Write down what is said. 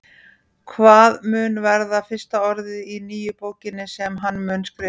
Hvað mun verða fyrsta orðið í nýju bókinni sem hann mun skrifa?